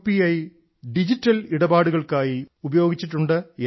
I digital ഇടപാടുകൾക്കായി ഉപയോഗിച്ചിട്ടുണ്ട് എന്ന്